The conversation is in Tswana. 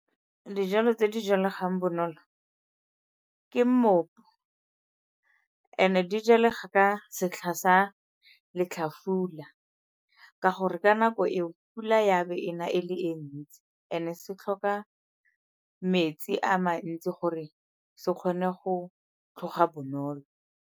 Dijalo tse di jalegang bonolo ke mmopo, and-e di jalega ka setlha sa letlhafula ka gore ka nako eo pula ya be ena e le e ntsi and-e se tlhoka metsi a mantsi gore se kgone go tlhoga bonolo.